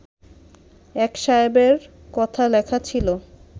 এক সাহেবের কথা লেখা ছিল